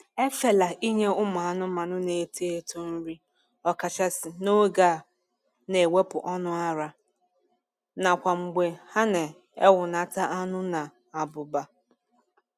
Efela inye ụmụ anụmanụ na-eto eto nri, ọkachasị n'oge a na-ewepụ ọnụ ara, nakwa mgbe ha na ewneta anu na abụba.